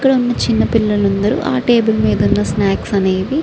ఇక్కడ ఉన్న చిన్న పిల్లలు అందరూ ఆ టేబుల్ మీద ఉన్న స్నాక్స్ అనేవి --